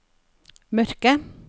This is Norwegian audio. mørke